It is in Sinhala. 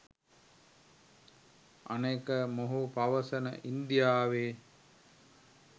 අනෙක මොහු පවසන ඉන්දියාවේ